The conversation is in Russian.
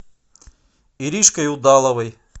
иришкой удаловой